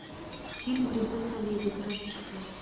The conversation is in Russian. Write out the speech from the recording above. фильм принцесса лебедь рождество